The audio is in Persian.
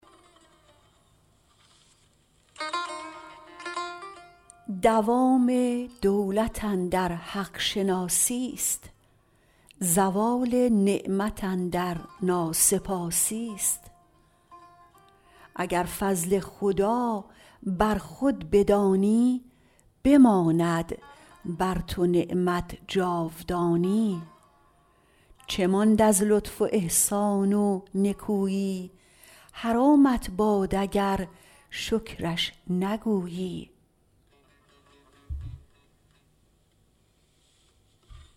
دوام دولت اندر حق شناسی ست زوال نعمت اندر ناسپاسی است اگر فضل خدا بر خود بدانی بماند بر تو نعمت جاودانی چه ماند از لطف و احسان و نکویی حرامت باد اگر شکرش نگویی